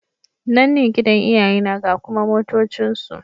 Nan ne gidan iyayena ga kuma motocinsu.